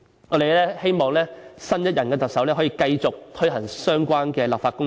我們希望新任特首可繼續推行相關的立法工作。